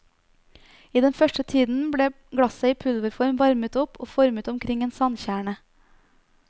I den første tiden ble glasset i pulverform varmet opp og formet omkring en sandkjerne.